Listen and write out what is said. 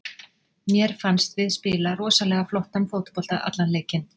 Mér fannst við spila rosalega flottan fótbolta allan leikinn.